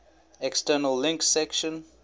external links section